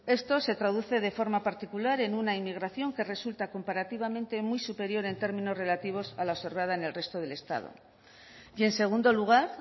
esto se traduce de forma particular en una inmigración que resulta comparativamente muy superior en términos relativos a la observada en el resto del estado y en segundo lugar